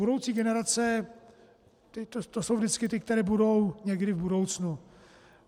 Budoucí generace, to jsou vždycky ty, které budou někdy v budoucnu.